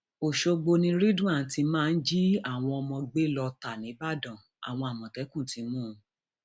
ọṣọgbó ni ridwan ti máa ń jí àwọn ọmọ gbé lọọ ta nìbàdàn àwọn àmọtẹkùn ti mú un